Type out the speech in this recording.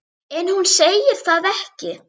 En hún segir það ekki.